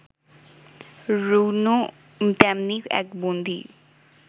রুনু তেমনি এক বন্দী